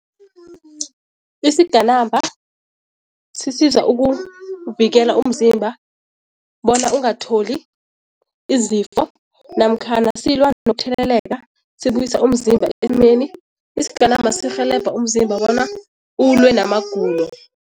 Isigenamba sisiza ukuvikela umzimba bona ungatholi izifo namkhana silwa nokutheleleka, sibuyisa umzimba esimeni. Isigenama sirhelebha umzimba bona ulwe namagulo.